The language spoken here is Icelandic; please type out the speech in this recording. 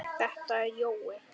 Þetta er Jói!